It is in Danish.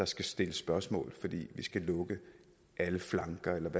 skal stilles spørgsmål fordi vi skal lukke alle flanker